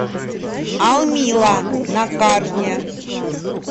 алмила на карте